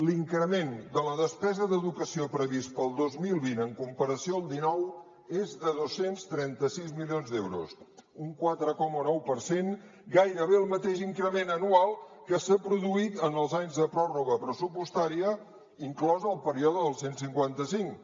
l’increment de la despesa d’educació previst per al dos mil vint en comparació al dinou és de dos cents i trenta sis milions d’euros un quatre coma nou per cent gairebé el mateix increment anual que s’ha produït en els anys de pròrroga pressupostària inclòs el període del cent i cinquanta cinc